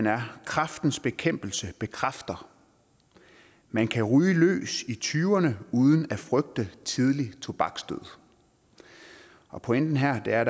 er kræftens bekæmpelse bekræfter man kan ryge løs i tyverne uden at frygte tidlig tobaksdød og pointen her er